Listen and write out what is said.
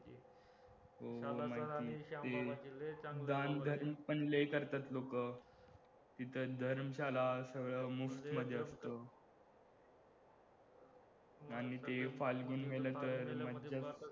दानधर्म पण लय करतात लोकं तिथं धर्मशाळा सगळं मध्ये असत आणि ते फाल्गुणमेला तर